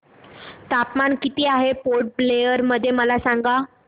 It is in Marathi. तापमान किती आहे पोर्ट ब्लेअर मध्ये मला सांगा